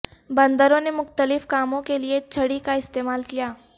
بندروں نے مختلف کاموں کے لیے چھڑی کا استعمال کیا